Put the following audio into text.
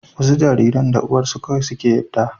wasu jariran da uwarsu kawai suke yadda